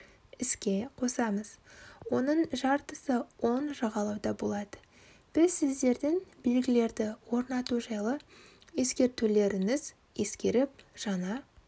іске қосамыз оның жартысы оң жағалауда болады біз сіздердің белгілерді орнату жайлы ескертулеріңіз ескеріп жаңа